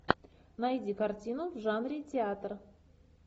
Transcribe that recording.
найди картину в жанре театр